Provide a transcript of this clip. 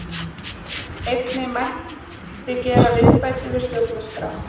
Einnig mætti gera viðbætur við stjórnarskrá